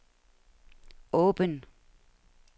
åben